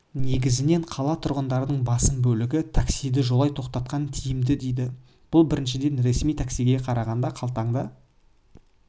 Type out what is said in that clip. негізінен қала тұрғындарының басым бөлігі таксиді жолай тоқтатқан тиімді дейді бұл біріншіден ресми таксиге қарағанда қалтаңды